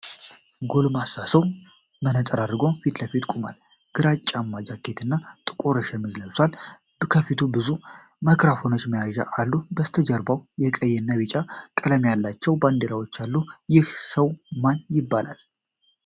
ጎልማሳ ሰው መነፅር አድርጎ ፊት ለፊት ተቀምጧል። ግራጫማ ጃኬት እና ጥቁር ሸሚዝ ለብሷል። ከፊቱ ብዙ የማይክሮፎን መያዣዎች አሉ። ከበስተጀርባው የቀይ እና ቢጫ ቀለም ያላቸው ባንዲራዎች አሉ። ይህ ሰው ማን ይባላል?